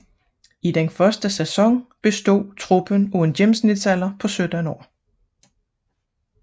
I den første sæson bestod truppen af en gennemsnitsalder på 17 år